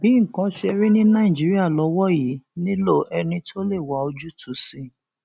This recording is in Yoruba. bí nǹkan ṣe rí ní nàìjíríà lọwọ yìí nílò ẹni tó lè wá ojúùtú sí i